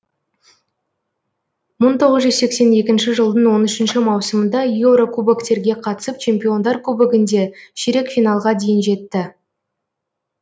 мың тоғыз жүз сексен екінші жылдың он үшінші маусымында еурокубоктерге қатысып чемпиондар кубогінде ширек финалға дейін жетті